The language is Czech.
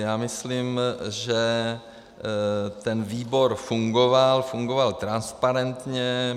Já myslím, že ten výbor fungoval, fungoval transparentně.